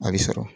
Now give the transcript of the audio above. A bɛ sɔrɔ